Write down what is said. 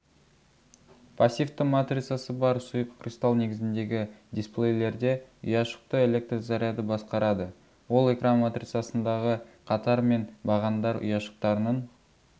пассивті матрицасы бар сұйық кристал негізіндегі дисплейлерде ұяшықты электр заряды басқарады ол экран матрицасындағы қатар мен бағандар ұяшықтарының